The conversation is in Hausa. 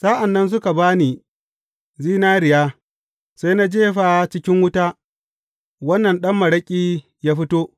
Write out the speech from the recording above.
Sa’an nan suka ba ni zinariya, sai na jefa cikin wuta, wannan ɗan maraƙi ya fito.